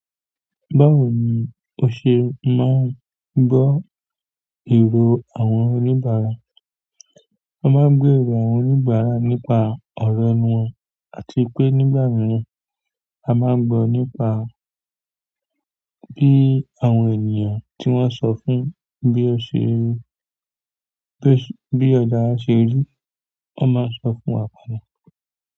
Báwo ni o ṣe máa ń gbọ́ ìró àwọn oníbàárà? A má ń gbọ́ èrò àwọn oníbàárà nípa ọ̀rọ̀ ọ wọn, àti pé nígbà mìíràn a ma ń gbọ́ nípa bí àwọn ènìyàn tí wọ́n sọ fún bí ó ṣe rí, bí ọjà a wa ṣe rí. Wọ́n ma ń sọ fún wa.